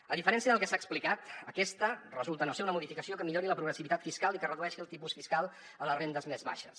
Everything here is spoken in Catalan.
a diferència del que s’ha explicat aquesta resulta no ser una modificació que millori la progressivitat fiscal i que redueixi el tipus fiscal a les rendes més baixes